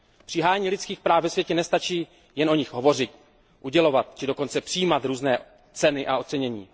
Při hájení lidských práv ve světě nestačí jen o nich hovořit, udělovat či dokonce přijímat různé ceny a ocenění.